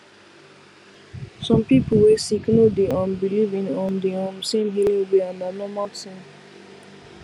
some people wey sick no dey um believe in um the um same healing way and na normal thing